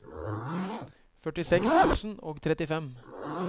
førtiseks tusen og trettifem